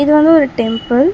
இது வந்து ஒரு டெம்பிள் .